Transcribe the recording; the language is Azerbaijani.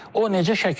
O necə şəkillənib?